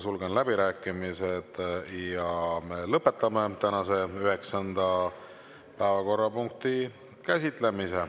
Sulgen läbirääkimised ja me lõpetame tänase üheksanda päevakorrapunkti käsitlemise.